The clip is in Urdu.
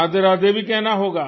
رادھے بھی کہنا ہوگا